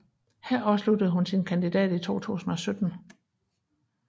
Her afsluttede hun sin kandidat i 2017